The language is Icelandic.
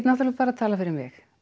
bara talað fyrir mig